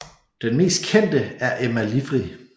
Den mest kendte er Emma Livry